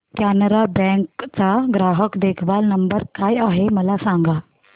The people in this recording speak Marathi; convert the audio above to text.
कॅनरा बँक चा ग्राहक देखभाल नंबर काय आहे मला सांगा